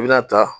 I bɛna ta